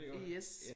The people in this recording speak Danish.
Yes